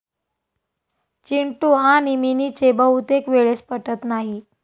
चिंटू आणि मिनीचे बहुतेक वेळेस पटत नाही.